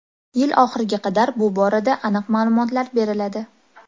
Yil oxiriga qadar bu borada aniq ma’lumotlar beriladi.